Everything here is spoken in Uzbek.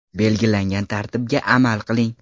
Belgilangan tartibga amal qiling.